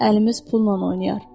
Əlimiz pulla oynayar.